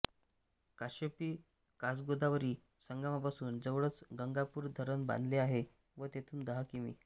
काश्यपी कासगोदावरी संगमापासून जवळच गंगापूर धरण बांधले आहे व तेथून दहा किमी